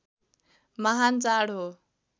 महान् चाड हो